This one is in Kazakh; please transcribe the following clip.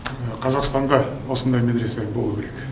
қазақстанда осындай медреселер болу керек